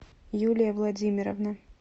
юлия владимировна